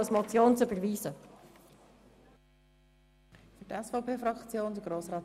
Damit schliessen wir die Debatte von heute Morgen.